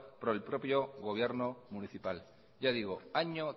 por el propio gobierno municipal ya digo año